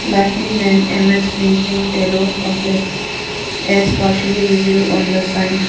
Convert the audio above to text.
likely name M_S rinzing taloh complex as partially visible on the signed.